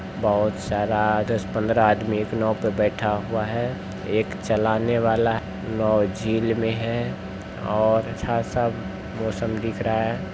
बहोत सारा दस पंद्रह आदमी एक नाव पे बैठा हुआ है एक चलाने वाला नाव झील में हैं और अच्छा सा मौसम दिख रहा है।